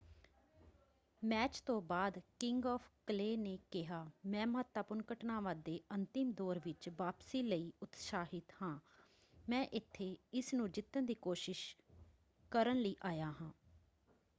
Match ਤੋਂ ਬਾਅਦ king of clay ਨੇ ਕਿਹਾ ਮੈਂ ਮਹੱਤਵਪੂਰਨ ਘਟਨਾਵਾਂ ਦੇ ਅੰਤਿਮ ਦੌਰ ਵਿੱਚ ਵਾਪਸੀ ਲਈ ਉਤਸਾਹਿਤ ਹਾਂ। ਮੈਂ ਇੱਥੇ ਇਸਨੂੰ ਜਿੱਤਣ ਦੀ ਕੋਸ਼ਿਸ਼ ਕਰਨ ਲਈ ਆਇਆ ਹਾਂ।